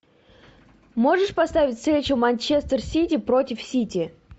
можешь поставить встречу манчестер сити против сити